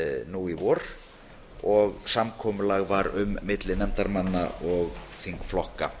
nú í vor og samkomulag var um milli nefndarmanna og þingflokka